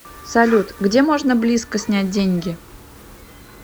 салют где можно близко снять деньги